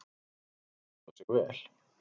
Marta stóð sig vel.